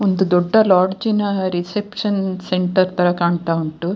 ಒಂದು ದೊಡ್ಡ ಲಾಡ್ಜಿನಾ ರಿಸೆಪ್ಶನ್ ಸೆಂಟರ್ ತರ ಕಾಣ್ತಾ ಉಂಟು.